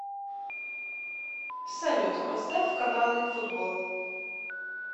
салют поставь каналы футбол